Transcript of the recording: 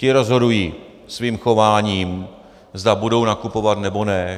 Ti rozhodují svým chováním, zda budou nakupovat, nebo ne.